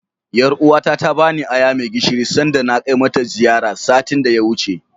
Ƴaruwa ta ta bani aya mai gishiri sanda na kai mata ziyara, satin da ya wuce.